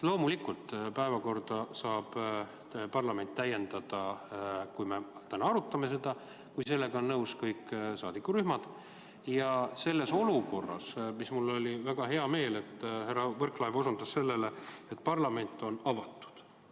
Loomulikult, päevakorda saab parlament täiendada, kui sellega on nõus kõik saadikurühmad, ja selles olukorras on mul väga hea meel, et härra Võrklaev osutas sellele, et parlament on avatud.